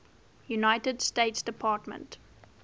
united states department